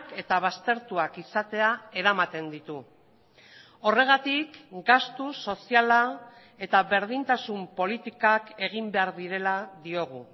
eta baztertuak izatea eramaten ditu horregatik gastu soziala eta berdintasun politikak egin behar direla diogu